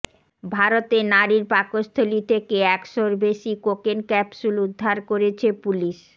ভারতে নারীর পাকস্থলী থেকে একশোর বেশি কোকেন ক্যাপসুল উদ্ধার করেছে পুলিশ